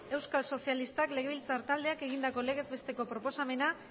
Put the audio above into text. euskal sozialistak legebiltzar taldeak egindako legez besteko proposamena